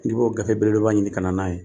N k'i b'o gafe belebeleba ɲini ka na n'a ye